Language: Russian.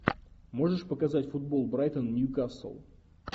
можешь показать футбол брайтон нью касл